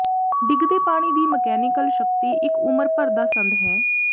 ਡਿੱਗਦੇ ਪਾਣੀ ਦੀ ਮਕੈਨੀਕਲ ਸ਼ਕਤੀ ਇੱਕ ਉਮਰ ਭਰ ਦਾ ਸੰਦ ਹੈ